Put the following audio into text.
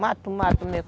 Mato, mato mesmo.